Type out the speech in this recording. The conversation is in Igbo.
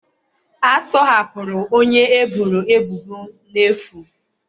A tọhapụrụ onye eboro ebubo n'efu